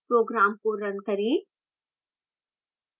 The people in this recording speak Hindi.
program को run करें